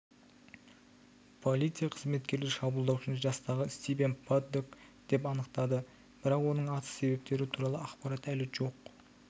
полиция қызметкерлері шабуылдаушыны жастағы стивен паддок деп анықтады бірақ оның атыс себептері туралы ақпарат әлі жоқ